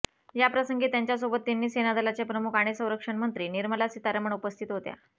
या प्रसंगी त्यांच्यासोबत तिन्ही सेनादलाचे प्रमुख आणि संरक्षणमंत्री निर्मला सीतारामण उपस्थित होत्या